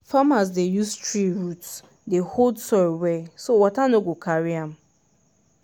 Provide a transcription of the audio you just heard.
farmers dey use tree root dey hold soil well so water no go carry am.